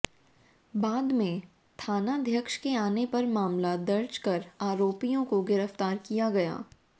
बाद में थानाध्यक्ष के आने पर मामला दर्ज कर आरोपियों को गिरफ्तार किया गया